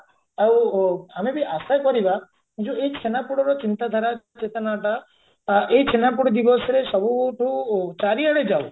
ଆଉ ଆମେ ବି ଆଶା କରିବା ଯଉ ଏଇ ଛେନାପୋଡର ଚିନ୍ତାଧାରା ଚେତନା ଟା ଆ ଏଇ ଛେନାପୋଡ ଦିବସରେ ସବୁଠୁ ଚାରିଆଡେ ଯାଉ